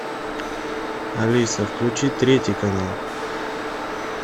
алиса включи третий канал